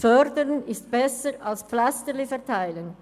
Fördern ist besser, als «Pflästerli» zu verteilen.